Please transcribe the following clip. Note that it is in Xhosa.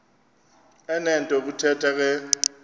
enento yokuthetha ke